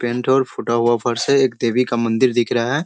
Pant और फूटा हुआ फर्श है। एक देवी का मंदिर दिख रहा है।